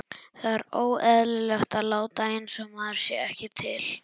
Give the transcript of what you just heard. Það er óeðlilegt að láta einsog maður sé ekki til.